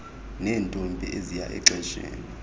neentombi eziya exesheni